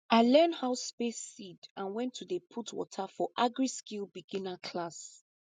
i learn how space seed and when to dey put water for agriskill beginner class